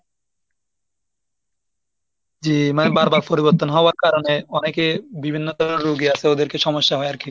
জি মানে বারবার পরিবর্তন হওয়ার কারণে অনেকে বিভিন্ন ধরণের রুগী আছে ওদের কি সমস্যা হয় আর কি।